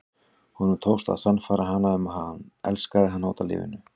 Honum tókst að sannfæra hana um að hann elskaði hana út af lífinu.